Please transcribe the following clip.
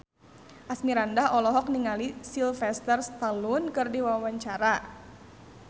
Asmirandah olohok ningali Sylvester Stallone keur diwawancara